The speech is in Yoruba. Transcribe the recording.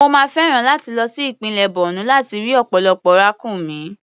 Mo máa fẹ́ràn láti lọ sí ìpínlẹ̀ Borno láti rí ọ̀pọ̀lọpọ̀ ràkúnmí.